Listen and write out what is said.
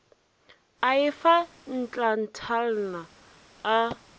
a e fa ntlatalna a